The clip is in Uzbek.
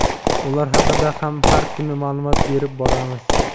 ular haqida ham har kuni ma’lumot berib boramiz.